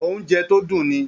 Oúnjẹ tó dùn ni